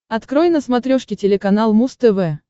открой на смотрешке телеканал муз тв